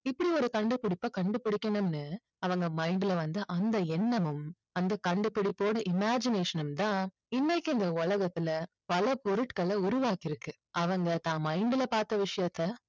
இப்படி ஒரு கண்டுபிடிப்பை கண்டுபிடிக்கணும்னு அவங்க mind ல வந்த அந்த எண்ணமும் அந்த கண்டுபிடிப்போட imagination ம் தான் இன்னைக்கு இந்த உலகத்துல பல பொருட்களை உருவாக்கி இருக்கு. அவங்க தான் mind ல பார்த்த விஷயத்தை